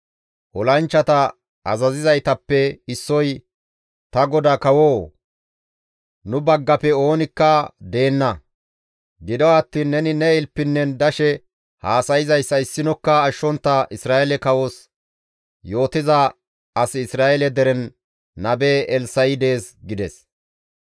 Olanchchata azazizaytappe issoy, «Ta godaa kawoo! Nu baggafe oonikka deenna; gido attiin neni ne ilpinnen dashe haasayzayssa issinokka ashshontta Isra7eele kawos yootiza asi Isra7eele deren nabe Elssa7i dees» gides.